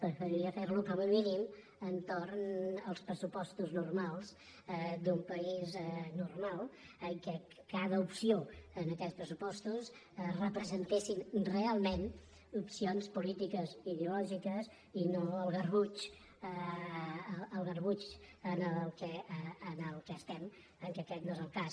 preferiria fer·lo com a mínim entorn dels pres·supostos normals d’un país normal en què cada opció en aquests pressupostos representés realment opcions polítiques ideològiques i no el garbuix en el qual es·tem en què aquest no és el cas